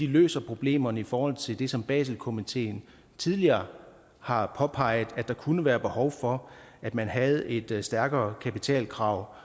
løser problemerne i forhold til det som baselkomiteen tidligere har påpeget at der kunne være behov for at man havde et stærkere kapitalkrav